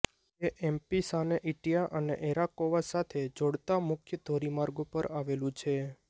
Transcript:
તે એમ્ફીસાને ઇટીયા અને એરાકોવા સાથે જોડતા મુખ્ય ધોરીમાર્ગ પર આવેલું છે